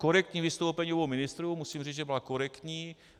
Korektní vystoupení obou ministrů, musím říct, že byla korektní.